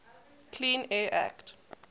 clean air act